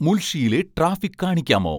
മുൾഷിയിലെ traffic കാണിക്കാമോ